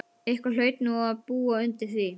Eitthvað hlaut nú að búa undir því.